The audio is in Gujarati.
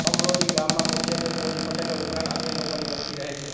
કમરોલી ગામમાં મુખ્યત્વે કોળી પટેલો ઉપરાંત અન્ય લોકોની વસ્તી રહે છે